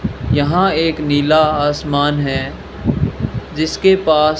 यहां एक नीला आसमान है जिसके पास--